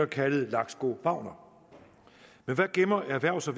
kaldet laksko wagner men hvad gemmer erhvervs og